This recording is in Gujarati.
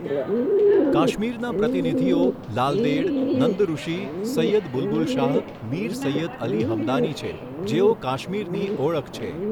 કાશ્મીરના પ્રતિનિધિઓ લાલદેડ, નંદઋષિ, સૈયદ બુલબુલ શાહ, મીર સૈયદ અલી હમદાની છે જેઓ કાશ્મીરની ઓળખ છે.